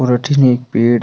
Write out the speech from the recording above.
और अठीने एक पेड़ --